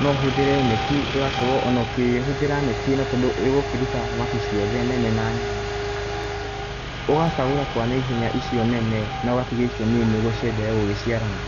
No ũhũthĩre neti, ĩgakorwo ona ũkihũthĩra neti ĩno tondũ ĩgũkĩruta thamaki ciothe nene na nini, ũgacagũra kwa naihenya icio nene na ũgatigia icio nini nĩguo cienderee gũgĩciarana.